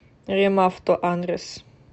ремавто адрес